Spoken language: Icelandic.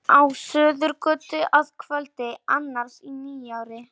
Á Suðurgötu að kvöldi annars í nýári.